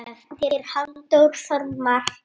eftir Halldór Þormar